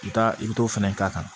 I bɛ taa i bɛ t'o fɛnɛ k'a kan